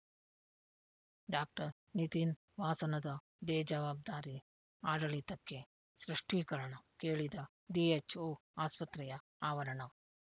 doctor Nitin ವಾಸನದ ಬೇಜವಾಬ್ದಾರಿ ಆಡಳಿತಕ್ಕೆ ಸೃಷ್ತೀಕರಣ ಕೇಳಿದ ಡಿಎಚ್‍ಓ ಆಸ್ಪತ್ರೆಯ ಆವರಣ